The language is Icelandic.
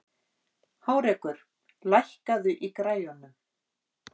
Hárekur, lækkaðu í græjunum.